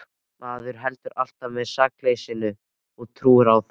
Maður heldur alltaf með sakleysinu og trúir á það.